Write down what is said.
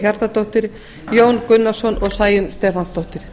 hjartardóttir jón gunnarsson og sæunn stefánsdóttir